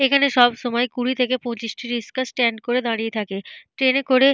এখানে সব সময় কুড়ি থেকে পঁচিশটি রিস্কার স্ট্যান্ড করে দাঁড়িয়ে থাকে। ট্রেনে করে --